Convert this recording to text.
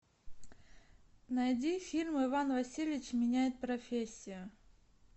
найди фильм иван васильевич меняет профессию